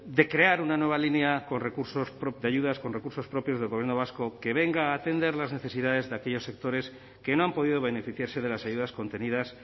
de crear una nueva línea con recursos de ayudas con recursos propios del gobierno vasco que venga a atender las necesidades de aquellos sectores que no han podido beneficiarse de las ayudas contenidas